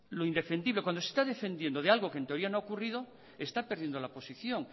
lo indefendible cuando se está defendiendo de algo que en teoría no ha ocurrido está perdiendo la posición